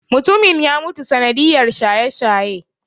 Mutumin ya mutu sanadiyar shaye-shaye.